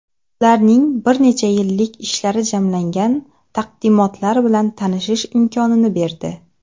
ularning bir necha yillik ishlari jamlangan taqdimotlar bilan tanishish imkonini berdi.